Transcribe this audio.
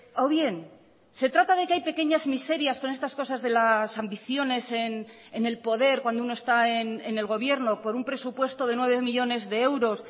o bien se trata de que hay pequeñas miserias con estas cosas de las ambiciones en el poder cuando uno está en el gobierno por un presupuesto de nueve millónes de euros